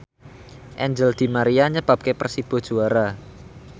Angel di Maria nyebabke Persibo juara